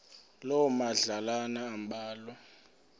loo madlalana ambalwa